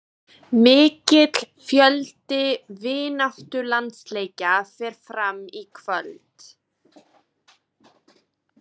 Mikill fjöldi vináttulandsleikja fer fram í kvöld.